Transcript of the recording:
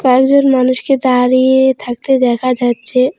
কয়েকজন মানুষকে দাঁড়িয়ে থাকতে দেখা যাচ্ছে।